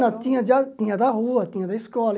Não, tinha da tinha da rua, tinha da escola.